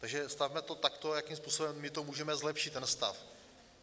Takže stavme to takto, jakým způsobem to my můžeme zlepšit, ten stav.